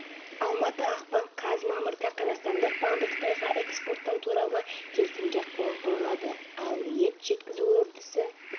бұдан былай тәжікстаннанқажылыққа аттанатындардың жасына шектеу қойылатын болып отыр үкімет шешімі бойынша енді қасиетті мекенге қажылық жасау тек жастан асқандар үшін